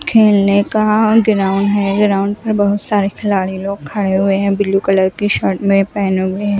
खेलने का ग्राउंड है ग्राउंड में बहोत सारे खिलाड़ी लोग खड़े हुए हैं ब्लू कलर की शर्ट में पहने हुए--